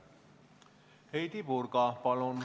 Heidy Purga, palun!